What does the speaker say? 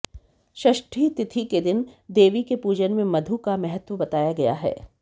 षष्ठी तिथि के दिन देवी के पूजन में मधु का महत्व बताया गया है